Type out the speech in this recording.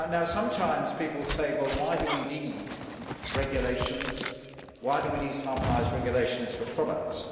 Sometimes people ask Why do we need regulations, why do we need harmonised regulations for products?